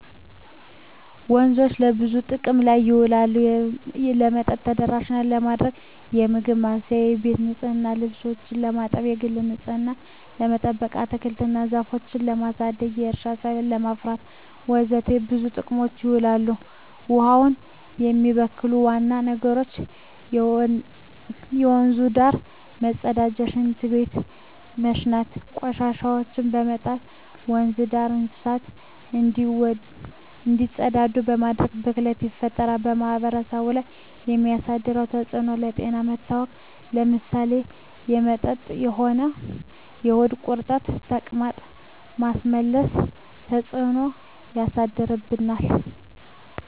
ወንዞች ለብዙ ጥቅም ላይ ይውላሉ የመጠጥ ተደራሽነትን ለማግኘት, ለምግብ ማብሰያ , ለቤት ንፅህና , ልብሶችን ለማጠብ, የግል ንፅህናችን ለመጠበቅ, አትክልቶች እና ዛፎችን ለማሳደግ, ለእርሻ ሰብል ለማፍራት ወዘተ ለብዙ ጥቅም ይውላል። ውሀውን የሚበክሉ ዋና ነገሮች ከወንዙ ዳር መፀዳዳት , ሽንት በመሽናት, ቆሻሻዎችን በመጣል, ወንዙ ዳር እንስሳቶች እንዲፀዳዱ በማድረግ ብክለት ይፈጠራል። በማህበረሰቡ ላይ የሚያደርሰው ተፅዕኖ ለጤና መታወክ ለምሳሌ በመጠጥ የሆድ ቁርጠት , ተቅማጥ, ማስመለስ ተፅዕኖች ያሳድርብናል።